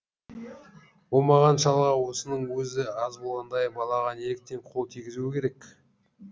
оңбаған шалға осының өзі аз болғандай балаға неліктен қол тигізуі керек